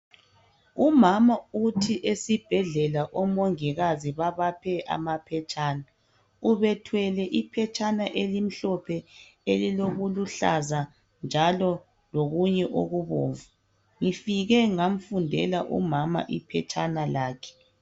Umama uthi esibhedlela omongikazi babaphe amaphetshana ubethwele iphetshana elimhlophe elilokuluhlaza njalo lokunye okubomvu ngifike ngamfundela umama iphetshana lakhe